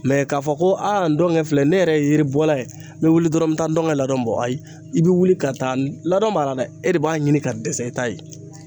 ka fɔ ko aa ndɔnkɛ filɛ ne yɛrɛ ye yiribɔla ye n be wuli dɔrɔn n be taa n ka ladon bɔ a i be wuli ka taa ladon mara dɛ e de b'a ɲini ka dɛsɛ e ta ye.